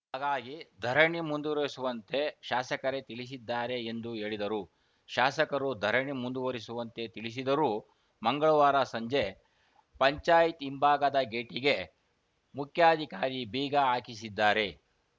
ಹಾಗಾಗಿ ಧರಣಿ ಮುಂದುವರಿಸುವಂತೆ ಶಾಸಕರೇ ತಿಳಿಸಿದ್ದಾರೆ ಎಂದು ಹೇಳಿದರು ಶಾಸಕರು ಧರಣಿ ಮುಂದುವರಿಸುವಂತೆ ತಿಳಿಸಿದರೂ ಮಂಗಳವಾರ ಸಂಜೆ ಪಂಚಾಯತ್ ಹಿಂಭಾಗದ ಗೇಟಿಗೆ ಮುಖ್ಯಾಧಿಕಾರಿ ಬೀಗ ಹಾಕಿಸಿದ್ದಾರೆ